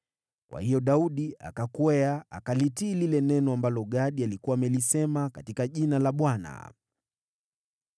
Kwa hiyo Daudi akakwea, akalitii lile neno ambalo Gadi alikuwa amelisema katika jina la Bwana .